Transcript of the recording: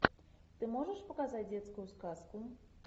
ты можешь показать детскую сказку